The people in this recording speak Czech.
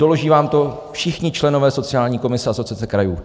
Doloží vám to všichni členové sociální komise Asociace krajů.